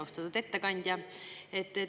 Austatud ettekandja!